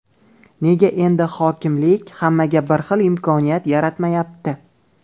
Nega endi hokimlik hammaga bir xil imkoniyat yaratmayapti?